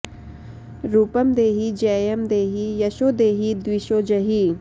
रुपं देहि जयं देहि यशो देहि द्विषो जहि